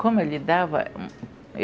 Como eu lidava?